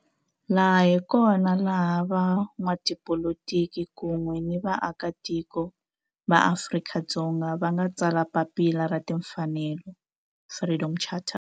Laha hi kona la van'watipolitiki kun'we ni vaaka tiko va Afrika-Dzonga va nga tsala papila ra timfanelo, Freedom Charter.